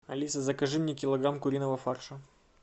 алиса закажи мне килограмм куриного фарша